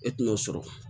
E tɛna o sɔrɔ